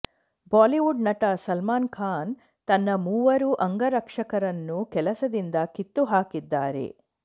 Bollywood ನಟ ಸಲ್ಮಾನ್ ಖಾನ್ ತನ್ನ ಮೂವರು ಅಂಗರಕ್ಷಕರನ್ನು ಕೆಲಸದಿಂದ ಕಿತ್ತು ಹಾಕಿದ್ದಾರೆ